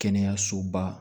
Kɛnɛyasoba